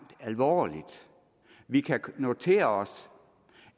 alvorligt vi kan notere os